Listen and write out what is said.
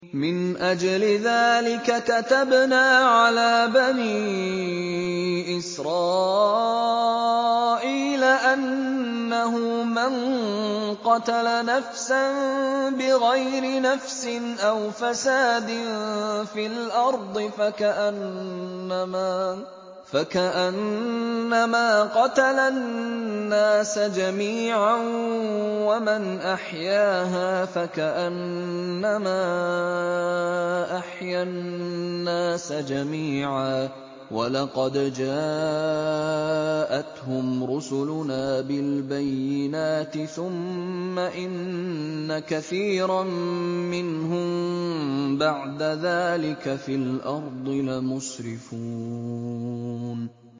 مِنْ أَجْلِ ذَٰلِكَ كَتَبْنَا عَلَىٰ بَنِي إِسْرَائِيلَ أَنَّهُ مَن قَتَلَ نَفْسًا بِغَيْرِ نَفْسٍ أَوْ فَسَادٍ فِي الْأَرْضِ فَكَأَنَّمَا قَتَلَ النَّاسَ جَمِيعًا وَمَنْ أَحْيَاهَا فَكَأَنَّمَا أَحْيَا النَّاسَ جَمِيعًا ۚ وَلَقَدْ جَاءَتْهُمْ رُسُلُنَا بِالْبَيِّنَاتِ ثُمَّ إِنَّ كَثِيرًا مِّنْهُم بَعْدَ ذَٰلِكَ فِي الْأَرْضِ لَمُسْرِفُونَ